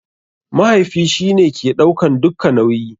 Mahaifi shi ne ke ɗaukan dukka nauyi.